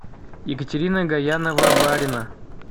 екатерина гаянова барина